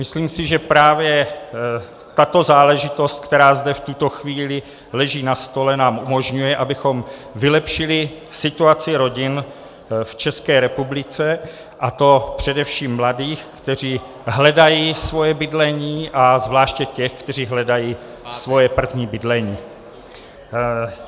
Myslím si, že právě tato záležitost, která zde v tuto chvíli leží na stole, nám umožňuje, abychom vylepšili situaci rodin v České republice, a to především mladých, kteří hledají svoje bydlení, a zvláště těch, kteří hledají svoje první bydlení.